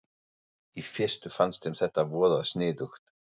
Í fyrstu fannst þeim þetta voða sniðugt.